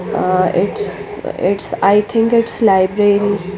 a it's it's I think it's library --